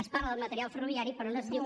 es parla del material ferroviari però no es diu